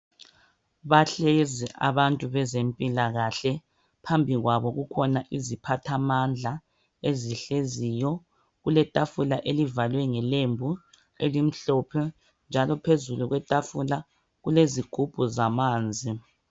Bahlezi abantu bezempilakahle . Phambi kwabo kukhona iziphathamandla ezihleziyo. Kuletafula elivalwe ngelembu elimhlophe njalo phezu kwetafula kulezigubhu zamanzi.